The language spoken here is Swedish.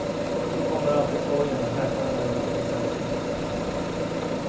Så kommer alltid sorgen och häpnaden över att det är så sällsynt.